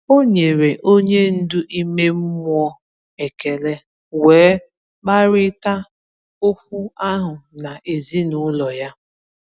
O nyere onye ndu ime mmụọ ekele, wee kparịta okwu ahụ na ezinụlọ ya.